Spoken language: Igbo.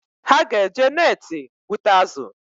Ha ga-eje neti gbụta azụ taa